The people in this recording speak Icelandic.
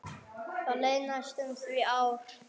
Það leið næstum því ár.